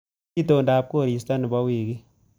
Itondap koristo nebo wiikini